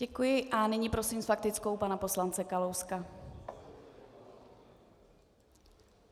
Děkuji a nyní prosím s faktickou pana poslance Kalouska.